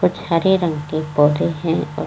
कुछ हरे रंग के पौधे हैं और --